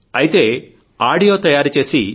అయితే ఆడియో తయారు చేసి